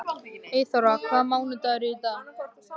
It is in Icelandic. Eyþóra, hvaða mánaðardagur er í dag?